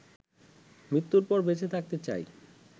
মৃত্যুর পর বেঁচে থাকতে চাই